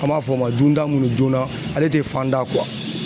An b'a fɔ o ma dunda minnu joona ale tɛ fan da